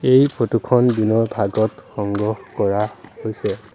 এই ফটো খন দিনৰ ভাগত সংগ্ৰহ কৰা হৈছে।